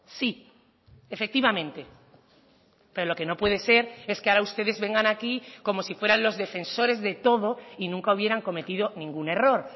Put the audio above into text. sí efectivamente pero lo que no puede ser es que ahora ustedes vengan aquí como si fueran los defensores de todo y nunca hubieran cometido ningún error